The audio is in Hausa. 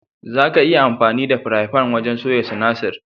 Zaka iya amfani da firayin fan wajen soya sinasir.